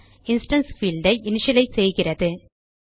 instance fieldஐ initialise செய்கிறது